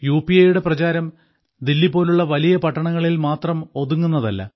U P ഐയുടെ പ്രചാരം ദില്ലി പോലുള്ള വലിയ പട്ടണങ്ങളിൽ മാത്രം ഒതുങ്ങുന്നതല്ല